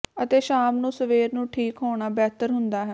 ਅਤੇ ਸ਼ਾਮ ਨੂੰ ਸਵੇਰ ਨੂੰ ਠੀਕ ਹੋਣਾ ਬਿਹਤਰ ਹੁੰਦਾ ਹੈ